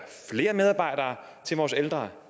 flere medarbejdere til vores ældre